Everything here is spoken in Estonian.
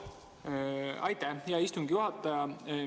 Aitäh, hea istungi juhataja!